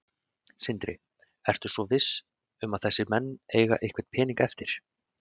Sindri: Ertu svo viss um að þessir menn eiga einhvern pening eftir?